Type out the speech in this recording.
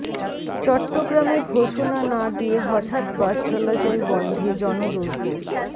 চট্টগ্রামে ঘোষণা না দিয়ে হঠাৎ বাস চলাচল বন্ধে জনদুর্ভোগ